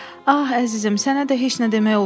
Ah, əzizim, sənə də heç nə demək olmur.